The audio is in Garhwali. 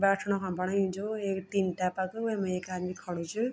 बैठणा कण बणायु च एक टिन टाइप क वैमा एक आदिम खड़ू च।